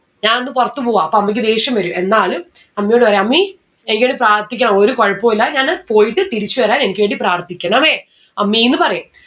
ഞാൻ ഒന്ന് പൊറത്ത് പോവാ അപ്പോ അമ്മിക്ക് ദേഷ്യം വരും എന്നാലും അമ്മയോട് പറയും അമ്മീ എനിക്ക് വേണ്ടി പ്രാർത്ഥിക്കാവോ ഒരു കൊഴപ്പു ഇല്ല ഞാന് പോയിട്ട് തിരിച്ച് വരാൻ എനിക്ക് വേണ്ടി പ്രാർത്ഥിക്കണമേ അമ്മീന്ന് പറയും